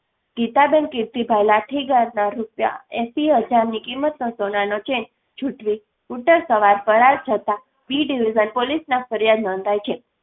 ગીતાબેન કિરતીભાઈ લાઠીગરના ના રુપીયા એસીહજારની કિમતનો સોનાનો ચેન જૂઠવી સ્કૂટરસવાર ફરાર જતા પી division પોલીસમાં ફરિયાદ નોંધાઈ છે